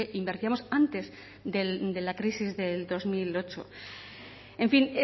invertíamos antes de la crisis del dos mil ocho en fin